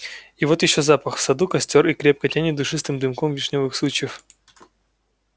и вот ещё запах в саду костёр и крепко тянет душистым дымом вишнёвых сучьев